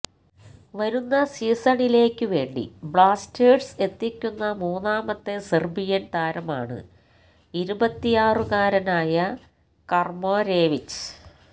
വരുന്ന സീസണിലേക്കു വേണ്ടി ബ്ലാസ്റ്റേഴ്സ് എത്തിക്കുന്ന മൂന്നാമത്തെ സെർബിയൻ താരമാണ് ഇരുപത്തിയാറുകാരനായ കർമരേവിച്ച്